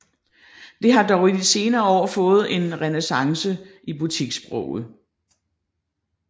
Det har dog i de senere år fået en renæssance i butikssproget